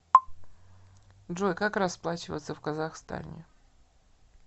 джой как расплачиваться в казахстане